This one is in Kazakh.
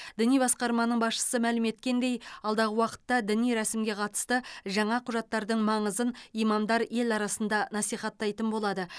діни басқармасының басшысы мәлім еткендей алдағы уақытта діни рәсімге қатысты жаңа құжаттардың маңызын имамдар ел арасында насихаттайтын болады